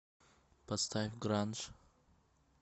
поставь гранж